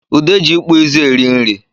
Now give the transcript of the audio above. Ude ji ịkpụịzụ eri nri